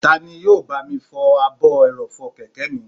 Tani yóò bá mi fọ ààbò ẹrọ̀fọ̀ kẹ̀kẹ́ mi?